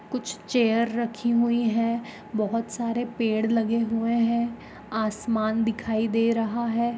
कुछ चेयर रखी हुई है। बहुत सारे पेड़ लगे हुए है। आसमान दिखाई दे रहा है ।